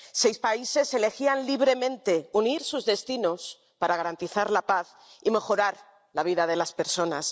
Seis países elegían libremente unir sus destinos para garantizar la paz y mejorar la vida de las personas.